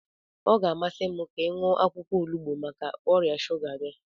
Ọ ga-amasị m ka ị ṅụọ akwụkwọ onugbu maka ọrịa shuga gị.